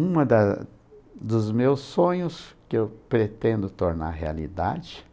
Uma da dos meus sonhos que eu pretendo tornar realidade,